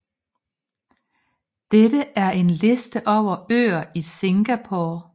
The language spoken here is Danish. Dette er en liste over øer i Singapore